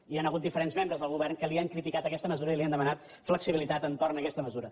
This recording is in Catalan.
hi han hagut diferents membres del govern que li han criti cat aquesta mesura i li han demanat flexibilitat entorn a aquesta mesura